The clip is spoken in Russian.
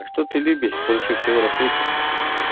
а что ты любишь больше всего на свете